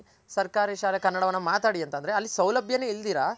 ಸರ್ಕಾರಿ ಶಾಲೆ ಕನ್ನಡವನ ಮಾತಾಡಿ ಅಂತಂದ್ರೆ ಅಲ್ಲಿ ಸೌಲಭ್ಯ ನೆ ಇಲ್ದಿರ